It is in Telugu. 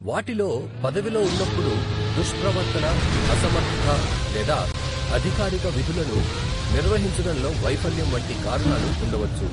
వాటిలో పదవిలో ఉన్నప్పుడు దుష్ప్రవర్తన, అసమర్థత లేదా అధికారిక విధులను నిర్వహించడంలో వైఫల్యం వంటి కారణాలు ఉండవచ్చు.